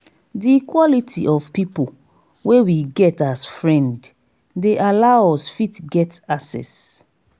di quality of pipo wey we get as friend dey allow us fit get access